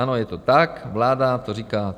Ano, je to tak, vláda to říká.